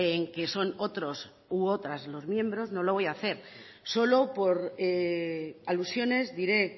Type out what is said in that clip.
en que son otros u otras los miembros no lo voy hacer solo por alusiones diré